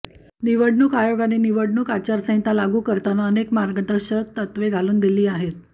निवडणूक आयोगाने निवडणूक आचारसंहीता लागू करताना अनेक मार्गदर्शक तत्वे घालून दिली आहेत